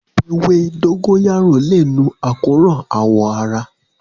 Ewé dógóyárò lè nu àkóràn àwọ̀ ara